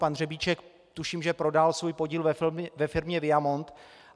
Pan Řebíček, tuším, že prodal svůj podíl ve firmě Viamont.